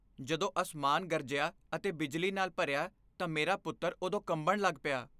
ਜਦੋਂ ਅਸਮਾਨ ਗਰਜਿਆ ਅਤੇ ਬਿਜਲੀ ਨਾਲ ਭਰਿਆ ਤਾਂ ਮੇਰਾ ਪੁੱਤਰ ਉਦੋਂ ਕੰਬਣ ਲੱਗ ਪਿਆ I